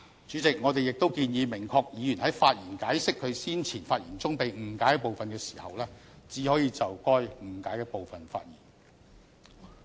主席，我們亦建議明確議員在發言解釋其先前發言中被誤解的部分時，只可就被誤解的部分發言。